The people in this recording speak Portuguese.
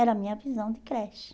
Era a minha visão de creche.